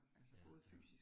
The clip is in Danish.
Ja ja